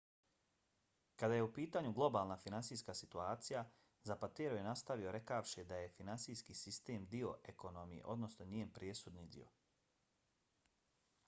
kada je u pitanju globalna finansijska situacija zapatero je nastavio rekavši da je finansijski sistem dio ekonomije odnosno njen presudni dio.